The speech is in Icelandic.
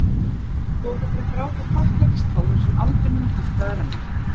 Þú átt eftir að gráta þakklætistárum sem aldrei munu hætta að renna.